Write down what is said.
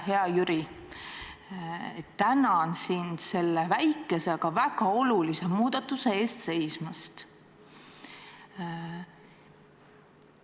Hea Jüri, tänan sind selle väikese, aga väga olulise muudatuse eest seismast!